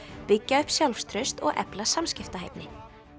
byggja upp sjálfstraust og efla samskiptahæfni